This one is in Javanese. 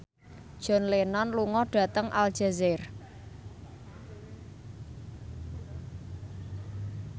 John Lennon lunga dhateng Aljazair